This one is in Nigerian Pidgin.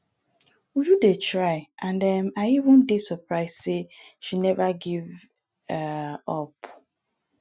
uju dey try and um i even dey surprised say she never give um up